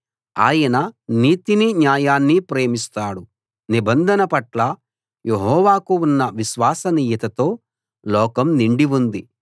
ఆయన నీతినీ న్యాయాన్నీ ప్రేమిస్తాడు నిబంధన పట్ల యెహోవాకు ఉన్న విశ్వసనీయతతో లోకం నిండి ఉంది